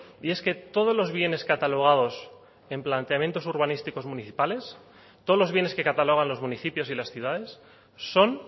y es que todos los bienes catalogados en planteamientos urbanísticos municipales todos los bienes que catalogan los municipios y las ciudades son